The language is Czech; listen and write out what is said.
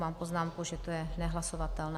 Mám poznámku, že je to nehlasovatelné.